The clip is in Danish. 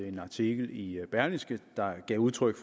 en artikel i berlingske der gav udtryk